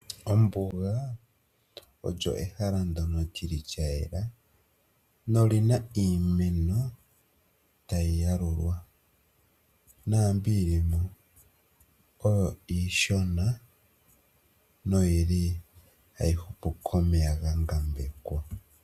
Ombuga olyo ehala ndyono li li lya yela noli na iimeno ta yi yalulwa, naambi yi li mo oyo iishona noyi li hayi hupu komeya ga ngambekwa.